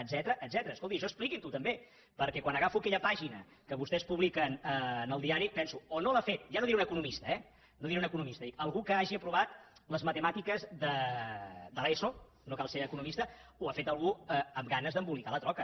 escolti això expliquin ho també perquè quan agafo aquella pàgina que vostès publiquen en el diari penso o no l’ha fet ja no diré un economista eh no diré un economista algú que hagi aprovat les matemàtiques de l’eso no cal ser economista o ho ha fet algú amb ganes d’embolicar la troca